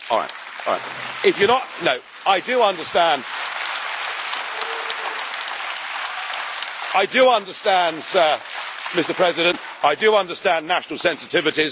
Mr President, I do understand national sensitivities.